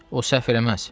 O səhv eləməz.